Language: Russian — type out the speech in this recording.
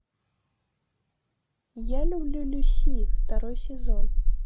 я люблю люси второй сезон